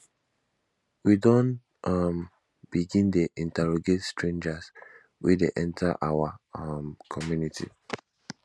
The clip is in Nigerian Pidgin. we don um begin dey interrogate strangers wey dey enter our um community